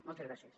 moltes gràcies